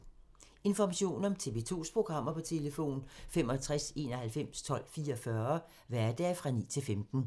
Information om TV 2's programmer: 65 91 12 44, hverdage 9-15.